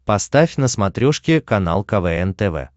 поставь на смотрешке канал квн тв